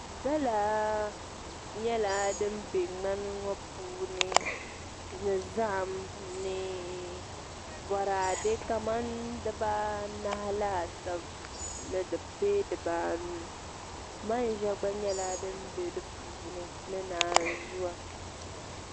Gala nyɛla din bɛ ŋmani ŋo puuni ni zaham ni boraadɛ kamani dibaanahi laasabu bee dibaanu manʒa gba nyɛla din bɛ di puuni ni naanzuu